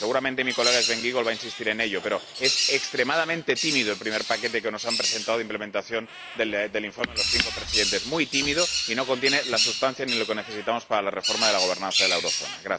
Seguramente mi colega Sven Giegold va a insistir en ello, pero es extremadamente tímido el primer paquete que nos han presentado de implementación del informe los cinco presidentes, muy tímido, y no contiene la sustancia ni lo que necesitamos para la reforma de la gobernanza de la eurozona.